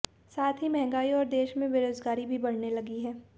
साथ ही महंगाई और देश में बेरोजगारी भी बढ़ने लगी है